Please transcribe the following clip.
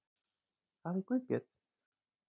Það er Guðbjörn.